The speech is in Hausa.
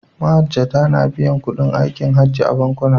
Mahajjata na biyan kuɗin aikin Hajji a bankuna.